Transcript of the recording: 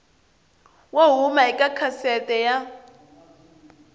wo huma eka gazette ya